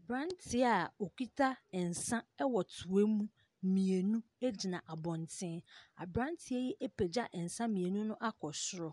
Aberanteɛ a ɔkita nsa ɛwɔ toam mmienu ɛgyina abɔnten. Aberanteɛ yi apagya nsa nmienu no akɔ soro.